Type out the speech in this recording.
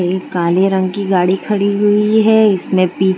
काले रंग की गाड़ी खड़ी हुई है इसमें पी--